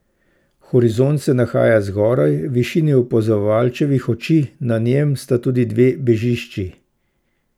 Horizont se nahaja zgoraj, v višini opazovalčevih oči, na njem sta tudi dve bežišči.